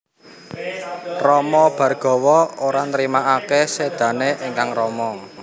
Rama Bhargawa ora nrimakaké sédané ingkang rama